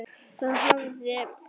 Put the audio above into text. Það hafði